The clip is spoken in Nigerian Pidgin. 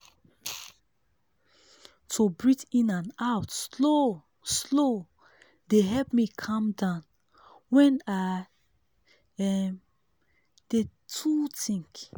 to breathe in and out slow-slow dey help me calm down when i um dey too think.